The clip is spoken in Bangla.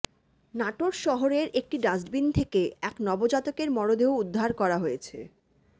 নাটোর শহরের একটি ডাস্টবিন থেকে এক নবজাতকের মরদেহ উদ্ধার করা হয়েছে